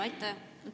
Aitäh!